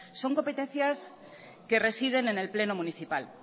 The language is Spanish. son competencias que residen en el pleno municipal